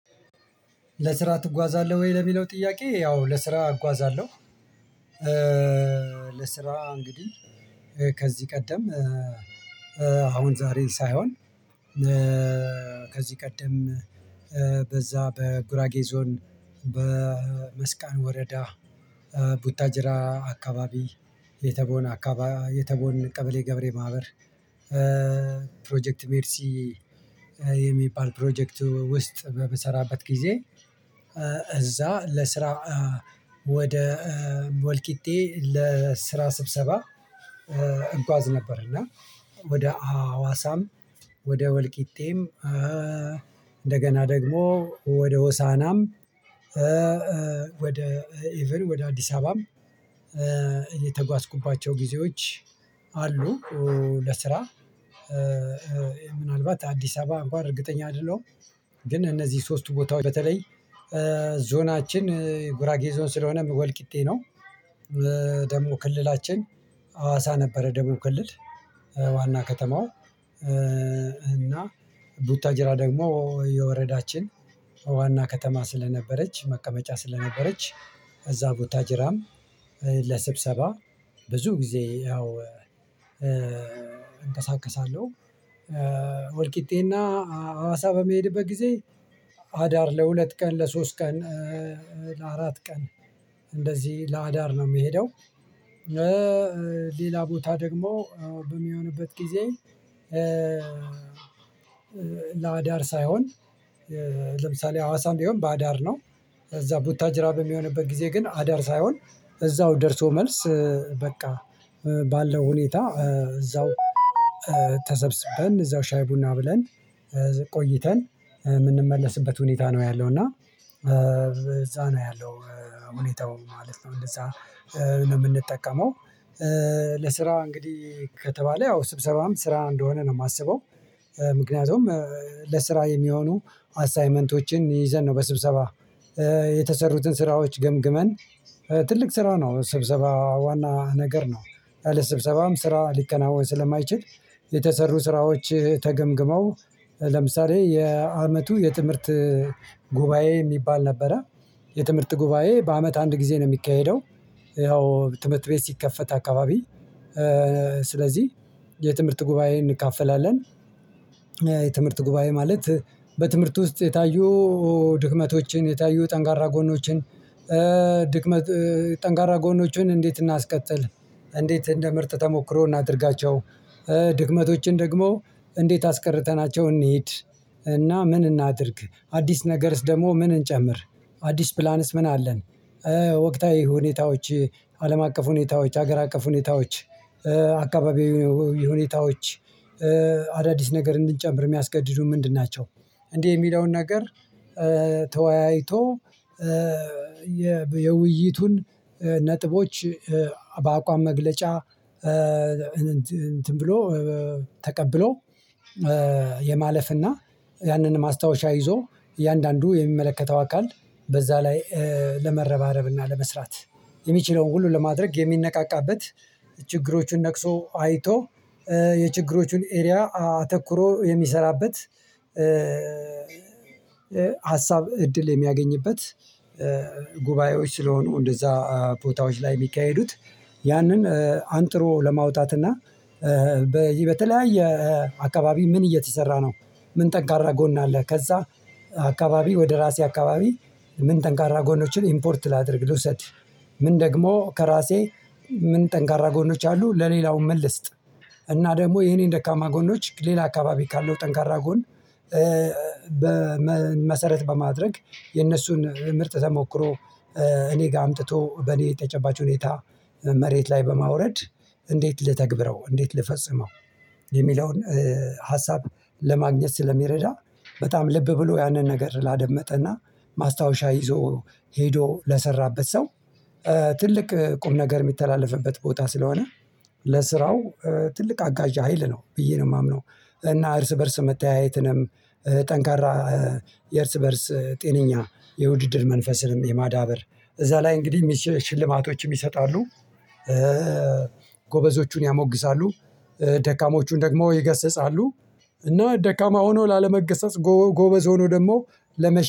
ለስራ ትጓዛለህ ወይ? ለሚለው ጥያቄ ያው ለስራ እጓዛለሁ። ለስራ እንግዲህ ከዚህ ቀደም አሁን ዛሬን ሳይሆን ከዚህ ቀደም በዛ በጉራጌ ዞን በመስቀን ወረዳ ቡታጅራ አካባቢ የተቦነ አካባ የተቦነ ቀበሌ ገበሬ ማህበር ፕሮጀክት ሜርሲ የሚባል ፕሮጀክት ውስጥ በምሰራበት ጊዜ እዛ ለስራ ወደ ወልቂጤ ለስራ ስብሰባ እጓዝ ነበር እና ወደ አዋሳም ወደ ወልቂጤም እንደገና ደግሞ ወደ ሆሳናም ወደ ኢቭን ወደ አዲስ አበባም የተጓዝኩባቸው ጊዜዎች አሉ። ለስራ ምናልባት አዲስ አበባ አንኳን እርግጠኛ አይደለሁም። ግን እነዚህ ሶስቱ ቦታዎች በተለይ ዞናችን ጉራጌ ዞን ስለሆነ ወልቂጤ ነው። ደግሞ ክልላችን አዋሳ ነበረ ደቡብ ክልል ዋና ከተማው እና ቡታጅራ ደግሞ የወረዳችን ዋና ከተማ ስለነበረች መቀመጫ ስለነበረች እዛ ቡታጅራም ለስብሰባ ብዙ ጊዜ ያው እንቀሳቀሳለሁ። ወልቂጤ እና አዋሳ በሚሄድበት ጊዜ አዳር ለሁለት ቀን ለሶስት ቀን ለአራት ቀን እንደዚህ ለአዳር ነው የምሄደው። ሌላ ቦታ ደግሞ በሚሆንበት ጊዜ ለአዳር ሳይሆን ለምሳሌ ሀዋሳም ቢሆን በአዳር ነው። እዛ ቦታጅራ በሚሆንበት ጊዜ ግን አዳር ሳይሆን እዛው ደርሶ መልስ በቃ ባለው ሁኔታ እዛው እዛው ሻይ ቡና ብለን ቆይተን የምንመለስበት ሁኔታ ነው ያለው። እና እዛ ነው ያለው ሁኔታው ማለት ነው እንደዛ ነው የምንጠቀመው። እንግዲህ ከተባለ ያው ስብሰባም ስራ እንደሆነ ነው የማስበው። ምክንያቱም ለስራ የሚሆኑ አሳይመንቶችን ይዘን ነው በስብሰባ የተሰሩትን ስራዎች ገምግመን ትልቅ ስራ ነው ስብሰባ ዋና ነገር ነው። የስብሰባም ስራ ሊከናወን ስለማይችል የተሰሩ ስራዎች ተገምግመው ለምሳሌ የአመቱ የትምህርት ጉባኤ የሚባል ነበረ። የትምህርት ጉባኤ በአመት አንድ ጊዜ ነው የሚካሄደው። ያው ትምህርት ቤት ሲከፈት አካባቢ ስለዚህ የትምህርት ጉባኤ እንካፈላለን። የትምህርት ጉባኤ ማለት በትምህርት ውስጥ የታዩ ድክመቶችን የታዩ ጠንቃራ ጎኖችን ድክመት ጠንካራ ጎኖችን እንዴት እናስቀጥል? እንዴት እንደ ምርጥ ተሞክሮ እናድርጋቸው? ድክመቶችን ደግሞ እንዴት አስቀርተናቸው እንሂድ? እና ምን እናድርግ? አዲስ ነገርስ ደግሞ ምን እንጨምር? አዲስ ፕላንስ ምን አለን? ወቅታዊ ሁኔታዎች አለም አቀፍ ሁኔታዎች ሀገር አቀፍ ሁኔታዎች አካባቢው ሁኔታዎች አዳዲስ ነገር እንድንጨምር የሚያስገድዱ ምንድን ናቸው? እንደ የሚለውን ነገር ተወያይቶ የውይይቱን ነጥቦች በአቋም መግለጫ እንትን ብሎ ተቀብሎ የማለፍና ያንን ማስታወሻ ይዞ እያንዳንዱ የሚመለከተው አካል በዛ ላይ ለመረባረብና ለመስራት የሚችለውን ሁሉ ለማድረግ የሚነቃቃበት ነቅሶ አይቶ የችግሮቹን ኤሪያ አተኩሮ የሚሰራበት ሀሳብ እድል የሚያገኝበት ጉባኤዎች ስለሆኑ እንደዛ ቦታዎች ላይ የሚካሄዱት ያንን አንጥሮ ለማውጣት እና በይ በተለያየ የአካባቢ ምን እየተሰራ ነው? ምን ጠንካራ ጎን አለ? ከዛ አካባቢ ወደ እራሴ አካባቢ ምን ጠንካራ ጎኖችን ኢምፖርት ላድርግ ልውሰድ? ምን ደግሞ ከራሴ ምን ጠንካራ ጎኖች አሉ ለሌላውም ምን ልስጥ? እና ደግሞ የኔን ደካማ ጎኖች ሌላ አካባቢ ካለው ጠንካራ ጎን በመሰረት በማድረግ የነሱን ምርጥ ተሞክሮ እኔ ጋር አምጥቶ በእኔ የተጨባጭ ሁኔታ መሬት ላይ በማውረድ እንዴት ልተግብረው እንዴት ልፈጽመው? የሚለውን ሀሳብ ለማግኘት ስለሚረዳ በጣም ልብ ብሎ ያንን ነገር ላደመጠ እና ማስታወሻ ይዞ ሄዶ ለሰራበት ሰው ትልቅ ቁም ነገር የሚተላለፍበት ቦታ ስለሆነ ለስራው ትልቅ አጋዣ ሀይል ነው ብዬ ነው የማምነው። እና እርስ በእርስ መተያየትንም ጠንካራ የእርስ በእርስ ጤነኛ የውድድር መንፈስንም የማዳበር እዛ ላይ እንግዲህ ሽልማቶችም ይሰጣሉ። ጎበዞቹን ያሞግሳሉ። ደካሞቹን ደግሞ ይገስጻሉ። እና ደካማ ሆኖ ላለመገሰጽ ጎበዝ ሆኖ ደግሞ ለመሸ